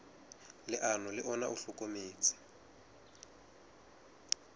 leano le ona o hlokometse